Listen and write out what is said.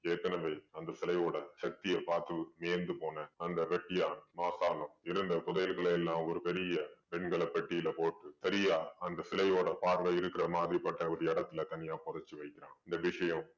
ஏற்கனவே அந்த சிலையோட சக்திய பாத்து வியந்து போன அந்த வெட்டியான் மார்த்தாண்டம் இருந்த புதையல்களையெல்லாம் ஒரு பெரிய வெண்கல பெட்டீல போட்டு சரியா அந்த சிலையோட பார்வை இருக்கற மாதிரி பட்ட ஒரு இடத்துல தனியா புதைச்சு வைத்தான். இந்த விஷயம்